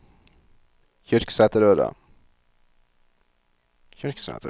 Kyrksæterøra